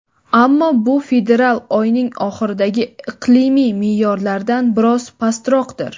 Ammo bu fevral oyining oxiridagi iqlimiy me’yorlardan biroz pastroqdir.